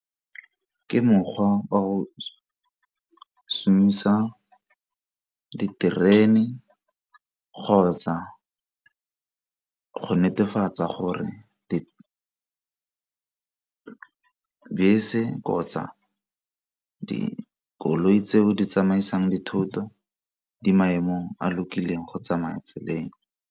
Ke mokgwa wa go šomisa diterene kgotsa go netefatsa gore dibese kgotsa dikoloi tseo di tsamaisang dithoto di maemong a lokileng go tsamaya tseleng.